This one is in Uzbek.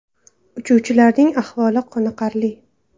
Uchuvchilarning ahvoli qoniqarli.